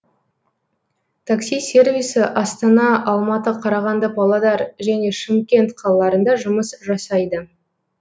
такси сервисі астана алматы қарағанды павлодар және шымкент қалаларында жұмыс жасайды